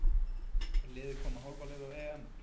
Er liðið komið hálfa leið á EM?